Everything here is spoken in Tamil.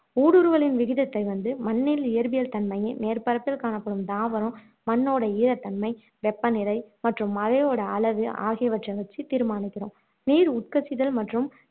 ஊடுருவலின் விகிதத்தை வந்து மண்ணில் இயற்பியல் தன்மையும், மேற்பரப்பில் காணப்படும் தாவரம், மண்ணோட ஈரத்தன்மை, வெப்ப நிலை மற்றும் மழையோட அளவு ஆகியவற்றை வச்சு தீர்மானிக்கிறோம் நீர் உட்கசிதல் மற்றும்